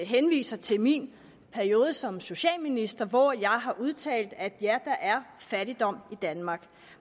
henviser til min periode som socialminister hvor jeg har udtalt at ja der er fattigdom i danmark